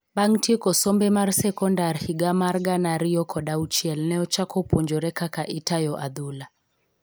bang tieko sombe mar sekondar higa mar gana ariyokod auchiel ne ochako puonjore kaka itayo adhula